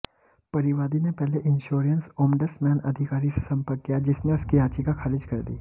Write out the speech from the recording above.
परिवादी ने पहले इंश्योरेंस ओम्बडसमैन अधिकारी से संपर्क किया जिसने उसकी याचिका खारिज कर दी